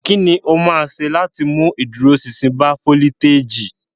Kí ni o máa ṣe láti mú ìdúróṣinṣin bá foliteji?